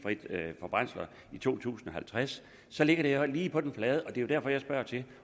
brændsler i to tusind og halvtreds så ligger det her jo lige på den flade hånd det er derfor jeg spørger til